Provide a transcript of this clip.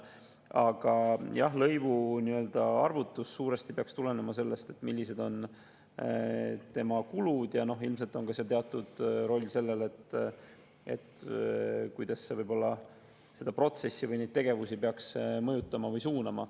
Aga jah, lõivu arvutus peaks suuresti tulenema sellest, millised on selle kulud, ja ilmselt on teatud roll sellel, kuidas see peaks võib-olla seda protsessi või neid tegevusi mõjutama või suunama.